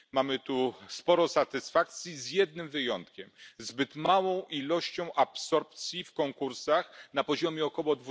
Mamy tu sporo satysfakcji z jednym wyjątkiem zbyt małą absorpcją w konkursach na poziomie około